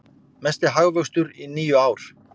Mesti hagvöxtur í níu ár